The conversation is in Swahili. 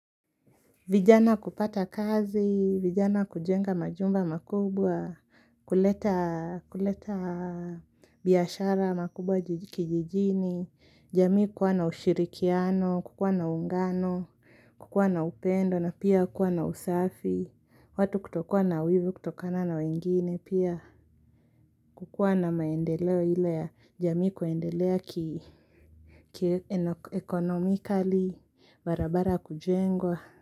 Vijana kupata kazi, vijana kujenga majumba makubwa, kuleta biashara makubwa kijijini, jamii kuwa na ushirikiano, kukuwa na ungano, kukuwa na upendo, na pia kuwa na usafi, watu kutokuwa na wivu kutokana na wengine pia, kukuwa na maendeleo ile ya jami kuendelea ki economically, barabara kujengwa.